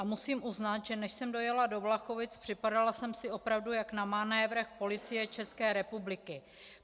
A musím uznat, že než jsem dojela do Vlachovic, připadala jsem si opravdu jak na manévrech Policie České republiky.